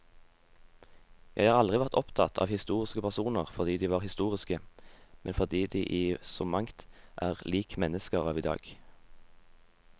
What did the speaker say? Jeg har aldri vært opptatt av historiske personer fordi de var historiske, men fordi de i så mangt er lik mennesker av i dag.